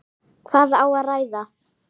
Hvað á að ræða?